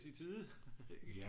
I tide ikke